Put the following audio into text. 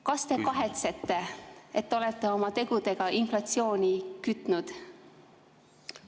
Kas te kahetsete, et olete oma tegudega inflatsiooni kütnud?